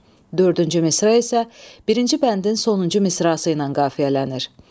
Dördüncü misra isə birinci bəndin sonuncu misrası ilə qafiyələnir.